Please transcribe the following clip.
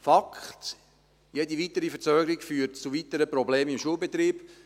Fakt: Jede weitere Verzögerung führt zu weiteren Problemen im Schulbetrieb.